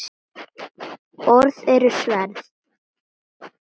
Orð eru sverð.